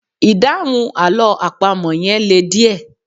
Ìdáhùn àlọ́ àpamọ́ yẹn le díẹ̀